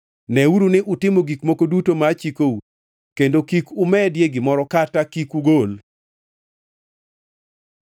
Neuru ni utimo gik moko duto machikou, kendo kik umedie gimoro kata kik ugol.